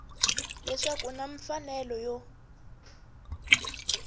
leswaku u na mfanelo yo